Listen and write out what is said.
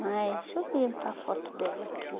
Mas deixa eu ver onde está a foto dela aqui.